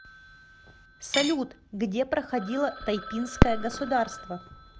салют где проходило тайпинское государство